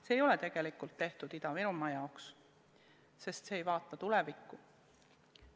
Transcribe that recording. See ei ole tegelikult tehtud Ida-Virumaa huvides, sest see ei vaata tulevikku.